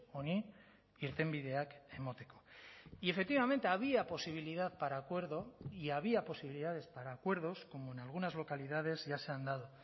honi irtenbideak emateko y efectivamente había posibilidad para acuerdo y había posibilidades para acuerdos como en algunas localidades ya se han dado